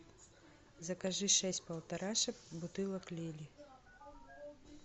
закажи шесть полторашек бутылок лели